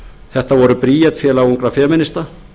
þetta voru bríet félag ungra femínista